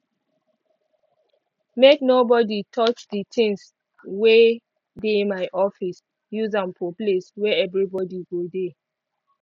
make nobody touch di tings wey dey my office use am for place wey everi body go dey